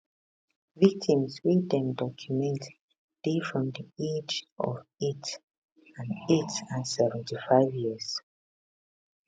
victims wey dem document dey from di age of eight and eight and 75 years